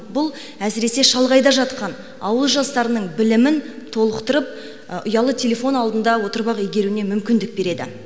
бұл әсіресе шалғайда жатқан ауыл жастарының білімін толықтырып ұялы телефон алдында отырып ақ игеруіне мүмкіндік береді